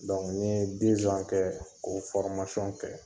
n ye kɛ k'o kɛ.